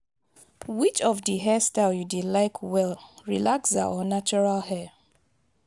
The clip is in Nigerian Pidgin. which of di hair style you dey like well relaxer or natural hair?